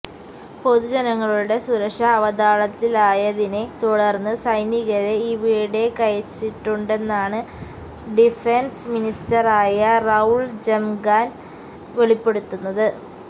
പൊതുജനങ്ങളുടെ സുരക്ഷ അവതാളത്തിലായതിനെ തുടർന്ന് സൈനികരെ ഇവിടേക്കയച്ചിട്ടുണ്ടെന്നാണ് ഡിഫെൻസ് മിനിസ്റ്ററായ റൌൾ ജംഗ്മാൻ വെളിപ്പെടുത്തുന്നത്